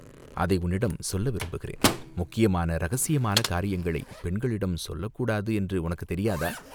அதை உன்னிடம் சொல்ல விரும்புகிறேன்." முக்கியமான இரகசியமான காரியங்களைப் பெண்களிடம் சொல்லக்கூடாது என்று உனக்குத் தெரியாதா?